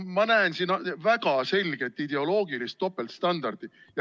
Ma näen siin väga selget ideoloogilist topeltstandardit.